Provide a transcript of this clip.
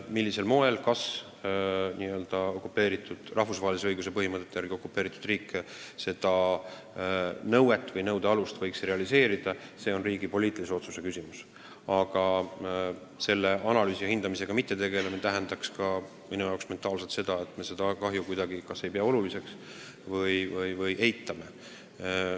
Millisel moel, mis alusel rahvusvahelise õiguse seisukohalt okupeeritud riik seda nõuet võiks esitada, see on riigi poliitilise otsuse küsimus, aga kui me selle analüüsi ja hindamisega ei tegeleks, siis see tähendaks minu jaoks ka seda, et me seda kahju kuidagi kas ei pea oluliseks või eitame.